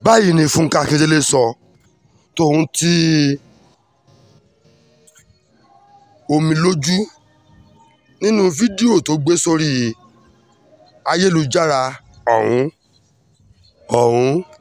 báyìí ni fúnkẹ́ akíndélé sọ ọ́ tòun ti omijé lójú nínú fídíò tó gbé sórí ayélujára ọ̀hún ọ̀hún